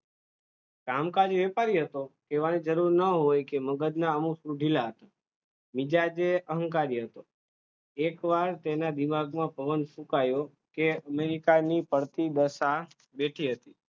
કામકાજે વ્યપારી હતો, કેવાની જરૂર ના હોય કે મગજના અમુક screw ઢીલા હતા, મિજાજે અહંકારી હતો, એક વાર તેના દિમાગમાં પવન ફુંકાયો કે ની પડતી દશા બેઠી હતી.